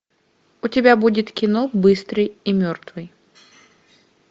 у тебя будет кино быстрый и мертвый